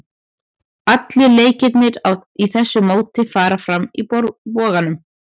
Allir leikirnir í þessu móti fara fram í Boganum.